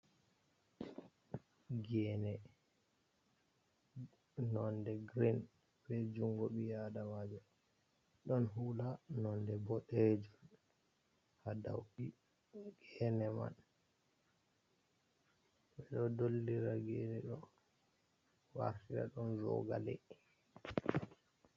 Gene nonɗe girin ɓe jungo ɓi aɗamajo. Ɗon hula nonɗe ɓoɗejum ha ɗow gene man. Ɓe ɗo ɗollira gene ɗo wartira ɗum zogale.